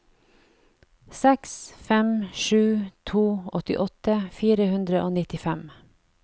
seks fem sju to åttiåtte fire hundre og nittifem